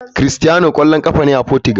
Cristiano kwallon kafa ne a Portugal.